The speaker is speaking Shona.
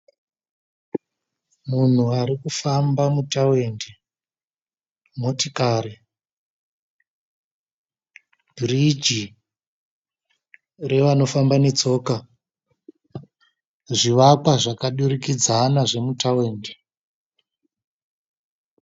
Munhu ari kufamba mutawindi. Motikari biriji revanofamba netsoka. Zvivakwa zvakadurikidzana zvemutawindi.